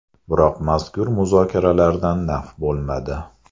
Biroq mazkur muzokaralardan naf bo‘lmadi.